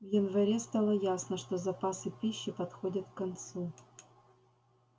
в январе стало ясно что запасы пищи подходят к концу